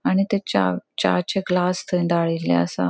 आणि थय चा चा चे ग्लास थय दाळिल्ले आसा.